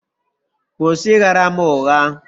Kwụsị ịgha ra m ụgha.!